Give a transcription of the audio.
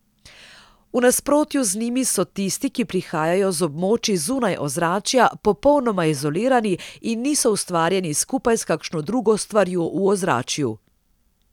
V nasprotju z njimi so tisti, ki prihajajo z območij zunaj ozračja, popolnoma izolirani in niso ustvarjeni skupaj s kakšno drugo stvarjo v ozračju.